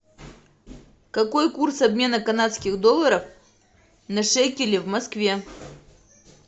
какой курс обмена канадских долларов на шекели в москве